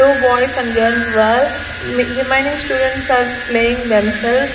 two boys and me remaining students are playing themself.